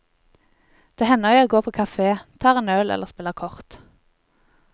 Det hender jeg går på kafé, tar en øl eller spiller kort.